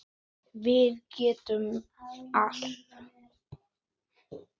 Það þarf að vera beint.